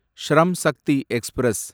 Shram Shakti express